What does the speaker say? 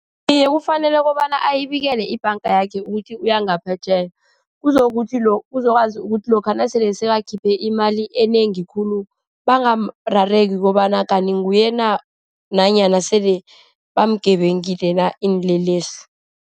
Iye, kufanele kobana ayinikele ibhanga yakhe ukuthi uyangaphetjheya. Uzokuthi, uzokwazi ukuthi lokha nasele sekakhuphe imali enengi khulu, bangarareki kobana kanti nguye na. Nanyana sele bamugebengile na, iinlelesi.